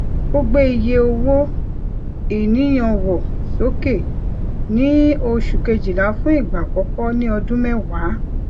ó gbe iye owó ìníyànwọ soke ní oṣù kejìlá fún igba àkọkọ ní ọdún mẹwa